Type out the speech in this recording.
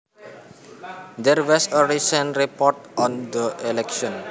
There was a recent report on the election